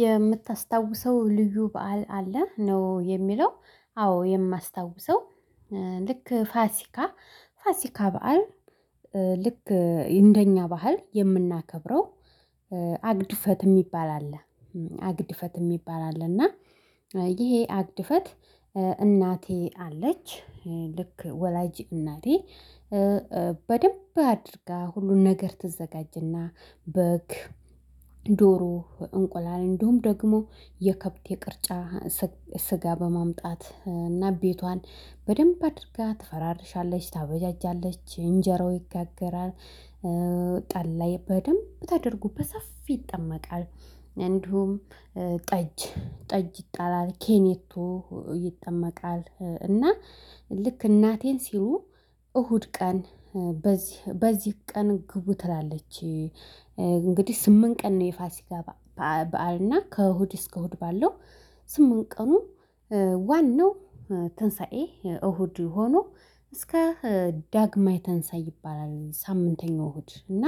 የምታስታውሰው ልዩ በዓል አለ ነው የሚለው። አዎ የማስታውሰው ልክ ፋሲካ ፋሲካ በዓል ልክ እንደኛ ባህል የምናከብረው አግድፈት የሚባል አለ አግድፈት የሚባል አለ እና ይሄ አግድፈት እናቴ አለች ልክ ወላጅ እናቴ በደንብ አድርጋ ሁሉን ነገር ትዘጋጅና በግ ዶሮ እንቁላል እንደውም ደግሞ የከብት የቅርጫ ስጋ በማምጣት እና ቤቷን በደንብ አድርጋ ትፈራርሻለች ታበጃጃለች እንጀራው ይጋገራል። ጠላ በደንብ ታደርጎ በሰፊ ይጠመቃል። እንዲሁም ጠጅ ጠጅ ይጣላል ኬኔቶ ይጠመቃል እና ልክ እናቴን ሲሉ እሁድ ቀን በዚህ ቀን ግቡ ትላለች እንግዲህ ስምንት ቀን ነው የፋሲካ በዓል እና ከእሁድ እስከ እሁድ ባለው ስምንት ቀኑ ዋናው ትንሳኤ እሁድ ሆኖ እስከ ዳግማይ ተንሳይ ይባላል ሳምንተኛው እሁድ እና